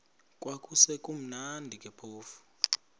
kwakusekumnandi ke phofu